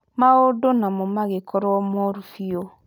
Maũndu namo magikorwo mooru biu